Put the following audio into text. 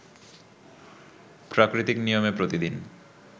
প্রাকৃতিক নিয়মে প্রতিদিন